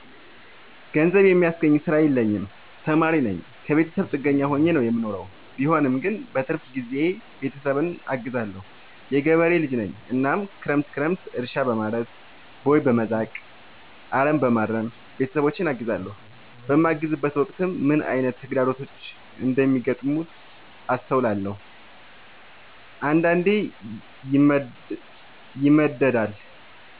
ገንዘብ የሚያስገኝ ስራ የለኝም ተማሪነኝ ከብተሰብ ጥገኛ ሆኜ ነው የምኖረው ቢሆንም ግን በረፍት ጊዜዬ ቤተሰብን አግዛለሁ። የገበሬ ልጅነኝ እናም ክረምት ክረምት እርሻ፣ በማረስ፣ ቦይ፣ በመዛቅ፣ አረምበማረም ቤተሰቦቼን አግዛለሁ። በማግዝበትም ወቅት ምን አይነት ተግዳሮቶች እንደሚገጥሙት አስተውያለሁ። አንዳንዴ ይመደዳል